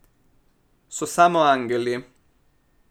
So samo angeli.